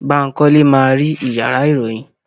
Bankole ma ri iyàrá iroyin.